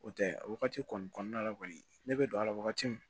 O tɛ a wagati kɔni kɔnɔna la kɔni ne bɛ don a la wagati min